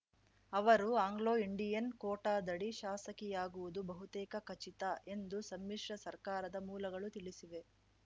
ಅವರು ಆಂಗ್ಲೋಇಂಡಿಯನ್‌ ಕೋಟಾದಡಿ ಶಾಸಕಿಯಾಗುವುದು ಬಹುತೇಕ ಖಚಿತ ಎಂದು ಸಮ್ಮಿಶ್ರ ಸರ್ಕಾರದ ಮೂಲಗಳು ತಿಳಿಸಿವೆ